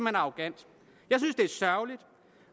er arrogant jeg synes det er sørgeligt